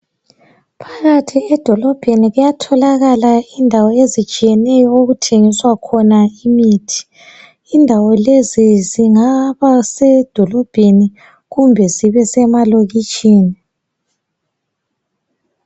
Phakathi edolobheni kuyatholakala indawo ezitshiyeneyo okuthengiswa khona imithi. Indawo lezi zingaba sedolobheni kumbe zibe semalokitshini.